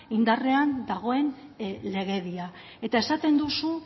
indarrean dagoen legedian esaten duzu